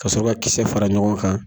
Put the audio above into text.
Ka sɔrɔ ka kisɛ fara ɲɔgɔn kan.